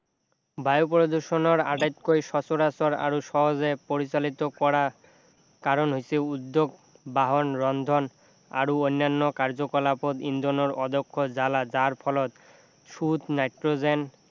বায়ু প্ৰদূষণৰ আটাইতকৈ সচৰাচৰ আৰু সহজে পৰিচালিত কৰা কাৰণ হৈছে উদ্যোগ বাহন ৰন্ধন আৰু অন্যান্য কাৰ্য্য-কলাপত ইন্ধনৰ অধ্যক্ষ জ্বালা যাৰ ফলত সুত নাইট্ৰজেন